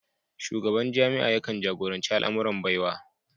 Shugaban jami'a yakan jagoranci al'amuran Baiwa